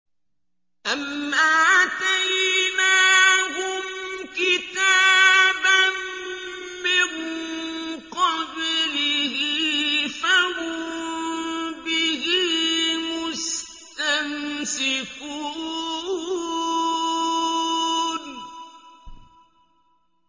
أَمْ آتَيْنَاهُمْ كِتَابًا مِّن قَبْلِهِ فَهُم بِهِ مُسْتَمْسِكُونَ